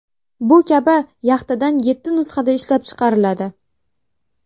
Bu kabi yaxtadan yetti nusxada ishlab chiqariladi.